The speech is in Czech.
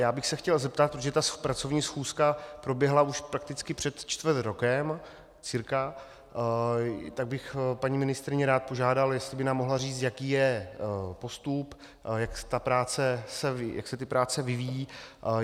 Já bych se chtěl zeptat, protože ta pracovní schůzka proběhla už prakticky před čtvrt rokem cirka, tak bych paní ministryni rád požádal, jestli by nám mohla říct, jaký je postup, jak se ty práce vyvíjejí.